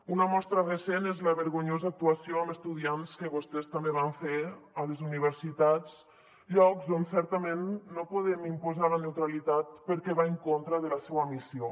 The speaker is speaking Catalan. una mostra recent és la vergonyosa actuació amb estudiants que vostès també van fer a les universitats llocs on certament no podem imposar la neutralitat perquè va en contra de la seua missió